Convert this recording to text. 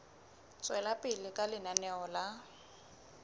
tswela pele ka lenaneo la